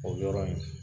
O yɔrɔ in